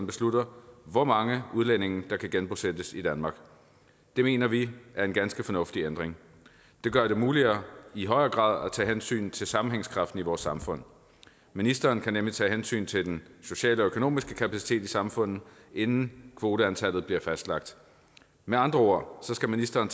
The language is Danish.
beslutter hvor mange udlændinge der kan genbosættes i danmark det mener vi er en ganske fornuftig ændring det gør det muligt i højere grad at tage hensyn til sammenhængskraften i vores samfund ministeren kan nemlig tage hensyn til den sociale og økonomiske kapacitet i samfundet inden kvoteantallet bliver fastlagt med andre ord skal ministeren